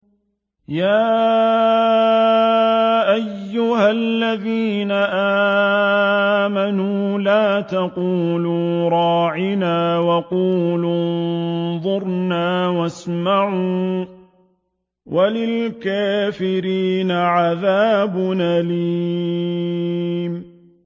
يَا أَيُّهَا الَّذِينَ آمَنُوا لَا تَقُولُوا رَاعِنَا وَقُولُوا انظُرْنَا وَاسْمَعُوا ۗ وَلِلْكَافِرِينَ عَذَابٌ أَلِيمٌ